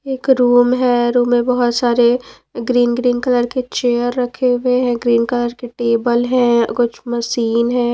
एक रूम है रूम में बहुत सारे ग्रीन ग्रीन कलर के चेयर रखे हुए हैं ग्रीन कलर के टेबल है कुछ मशीन है।